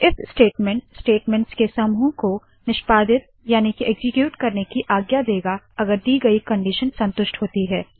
if statement statements के समूह को निष्पादित याने के एक्सीक्यूट करने की आज्ञा देगा अगर दी गयी कंडीशन संतुष्ट होती है